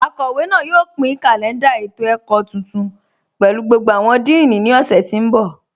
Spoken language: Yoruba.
Akọwe náà yóò pin kalẹ̀ndà ètò-ẹ̀kọ̀ tuntun pẹ̀lú gbogbo awọn díìní ni ọ̀ṣẹ̀ tí n bọ.